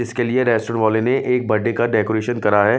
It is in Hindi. इसके लिए रेस्टौर वाले ने एक बर्थडे का डेकोरेशन करा है।